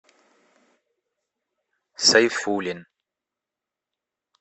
сайфуллин